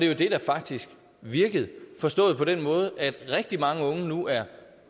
jo det der faktisk virkede forstået på den måde at rigtig mange unge nu er